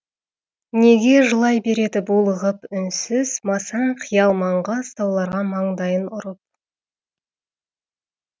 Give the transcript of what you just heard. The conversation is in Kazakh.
неге жылай береді булығып үнсіз масаң қиял маңғаз тауларға маңдайын ұрып